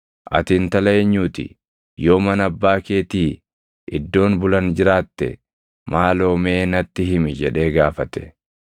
“Ati intala eenyuu ti? Yoo mana abbaa keetii iddoon bulan jiraatte maaloo mee natti himi” jedhee gaafate.